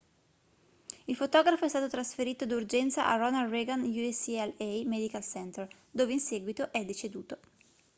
il fotografo è stato trasferito d'urgenza al ronald reagan ucla medical center dove in seguito è deceduto